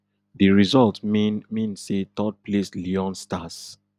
di result mean mean say thirdplaced leone stars